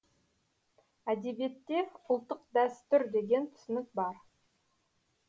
әдебиетте ұлттық дәстүр деген түсінік бар